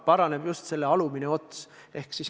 Paraneb just see alumine ots.